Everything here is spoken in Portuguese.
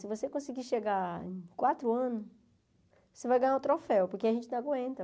Se você conseguir chegar em quatro anos, você vai ganhar um troféu, porque a gente não aguenta.